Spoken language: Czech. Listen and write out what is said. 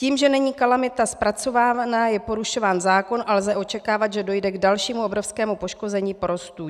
Tím, že není kalamita zpracovávaná, je porušován zákon a lze očekávat, že dojde k dalšímu obrovskému poškození porostů.